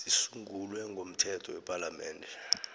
zisungulwe ngomthetho wepalamende